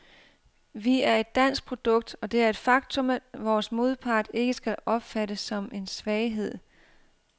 Vi er et dansk produkt, og det er et faktum, vores modpart ikke skal opfatte som en svaghed.